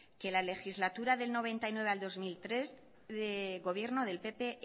que la legislatura del noventa y nueve al dos mil tres gobierno del pp